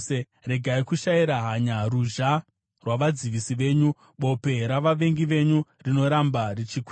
Regai kushayira hanya ruzha rwavadzivisi venyu, bope ravavengi venyu, rinoramba richikwira.